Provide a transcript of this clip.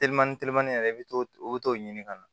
Telimani telimani yɛrɛ i bɛ t'o i bɛ t'o ɲini ka na